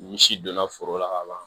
Ni si donna foro la ka ban